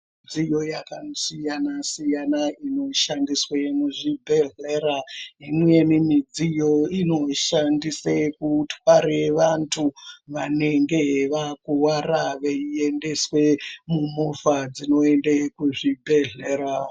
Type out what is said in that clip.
Dziyo yakasiyana siyana inoshandiswe muzvibhedhlera imweni midziyo inoshandiswe kutware vantu vanenge vakuwara veiendeswe mumovha esinoende kuzvibhedhlera.